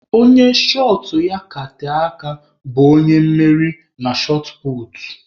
Onye shọt ya ka tee aka bụ onye mmeri na shọt puutu.